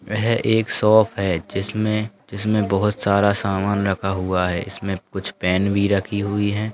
यह एक शॉप है जिसमे-जिसमे बहुत सारा सामान रखा हुआ है इसमें कुछ पेन भी रखी हुई है।